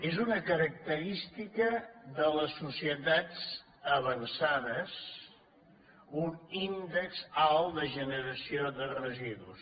és una característica de les societats avançades un índex alt de generació de residus